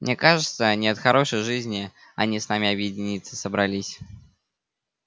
мне кажется не от хорошей жизни они с нами объединиться собрались